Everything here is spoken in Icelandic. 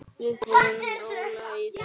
Við förum rólega í þetta.